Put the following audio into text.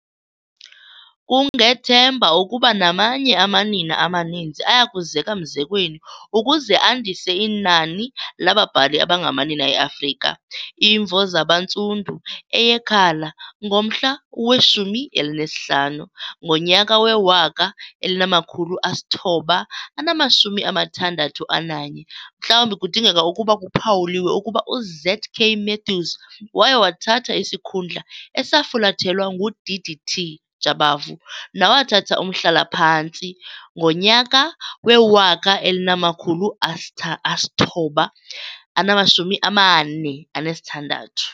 Kungethemba ukuba namanye amanina amaninzi ayakuzeka mzekweni ukuze andise inani lababhali abangamanina eAfrika. Imvo Zabantsundu, eyeKhala mgomhla we-15, ngonyaka we-1961. Mhlawumbi kudingeka ukuba kuphawuliwe ukuba uZ.K. Matthews waye wathatha isikhundla esafulathelwa nguD.D.T. Jabavu nawathatha umhlala phantsi ngo-1946.